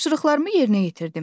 Tapşırıqlarımı yerinə yetirdim.